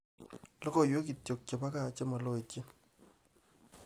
logoywek ngircho chebo gaa chemaloityen